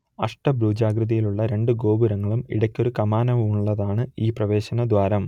അഷ്ടഭുജാകൃതിയിലുള്ള രണ്ടു ഗോപുരങ്ങളും ഇടയ്ക്കൊരു കമാനവുമുള്ളതാണ് ഈ പ്രവേശനദ്വാരം